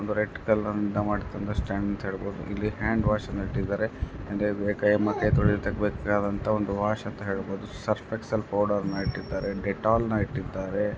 ಒಂದು red colour ನಿಂದ ಮಾಡಿದಂತಾ ಸ್ಟಾಂಡ್ ಅಂತ ಹೇಳ್ಬಹುದು ಇಲ್ಲಿ ಹ್ಯಾಂಡ್ವಷನ್ನ ಇಟ್ಟಿದರೆ ಅಂಡ್ ಎ-ಕೈತೊಳೀಲಿಕ್ಕೆ ಬೇಕಾದಂತ ಒಂದು ವಾಶ್ ಅಂತ ಹೇಳ್ಬಹುದು ಸರ್ಫ್ ಎಕ್ಸೆಲ್ ಪೌಡರ್ನ ಇಟ್ಟಿದ್ದಾರೆ ಡೆಟೋಲ್ ನಾ ಇಟ್ಟಿದ್ದಾರೆ.